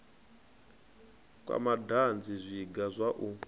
kwa madanzi zwiga zwa u